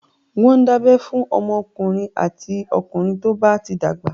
Wọ́n ń dábẹ́ fún ọmọdékùnrin àti okùnrin tó ti dàgbà.